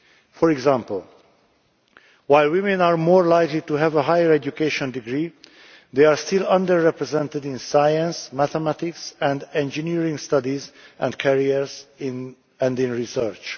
For example, while women are more likely to have a higher education degree, they are still under represented in science, mathematics and engineering studies and careers in research.